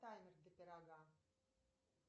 таймер для пирога